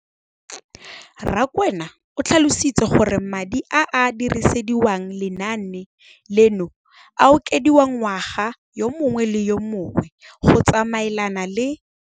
Rakwena o tlhalositse gore madi a a dirisediwang lenaane leno a okediwa ngwaga yo mongwe le yo mongwe go tsamaelana le